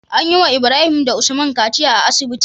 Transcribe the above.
Anyi wa Ibrahim da usman kaciya a asibiti